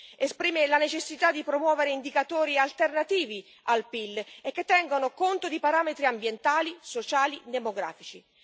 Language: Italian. Esprime la necessità di promuovere indicatori alternativi al PIL, che tengano conto di parametri ambientali, sociali e demografici.